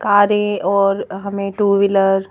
कारें और हमें टू व्हीलर --